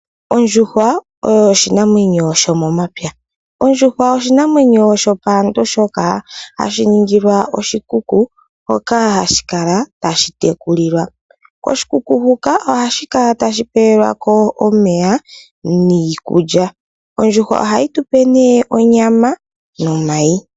Ondjuhwa oyo oshinamwenyo sho momapya. Ondjuhwa oshinamwenyo shopaantu shoka hashi ningilwa oshikuku hoka hashi kala tashi tekulilwa. Koshikuku huka ohashi kala tashi pewelwako omeya niikulya. Ondjuhwa ohayi tupe nee onyama nomayi.